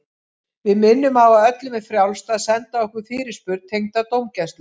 Við minnum á að öllum er frjálst að senda okkur fyrirspurn tengda dómgæslu.